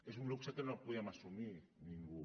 és un luxe que no podem assumir ningú